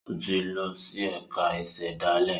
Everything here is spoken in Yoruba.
O tí lọ si ẹka ìsèdálè